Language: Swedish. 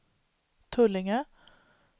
Tullinge